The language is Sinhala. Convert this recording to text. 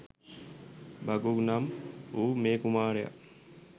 භගු නම් වූ මේ කුමාරයා